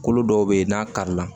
Kolo dɔw bɛ yen n'a kari la